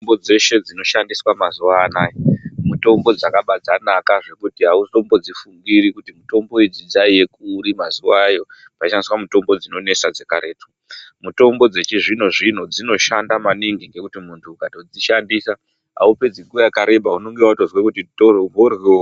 Mitombo dzeshe dzinoshandiswa mazuva anaya mutombo dzakabva dzabanaka zvekuti hautombodzifungiri mutombo idzi dzaiva kuri mazuvayo panoshandiswa mitombo dzinonesa dzekaretu. Mitombo dzechizvino-zvino dzinoshanda maningi ngekuti muntu ukatodzishandisa haupedzi nguva yakareba unonga vatozwa kuti mhoryo.